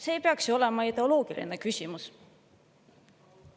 See ei peaks ju olema ideoloogiline küsimus.